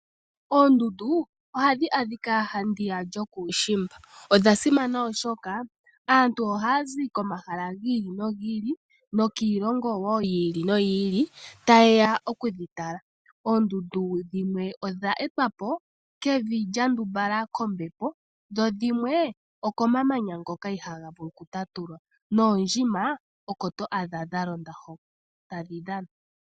Ondundu oha dhi adhika handiya yokuushimba. Odha simana oshoka aantu oha ya zi komahala gi ili, nogi ili, nokiilongo woo yi ili, noyi ili, tayeya oku dhi tala. Oondundu dhimwe odha etwa po kevi lya ndumbalala kombepo, dho dhimwe okomamanya ngoka iha ga vulu oku tatulwa, noondjima oko to adha dha londa hoka ta dhi dhana.